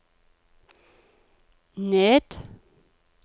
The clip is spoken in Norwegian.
ned